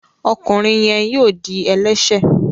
ọkùnrin yén yíò dì ẹlẹṣẹ.